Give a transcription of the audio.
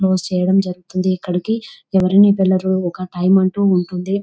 Post చేయడం జరుగుతుంది ఇక్కడికి ఎవరైనా ఒక టైమ్ అంటూ ఉంటుంది.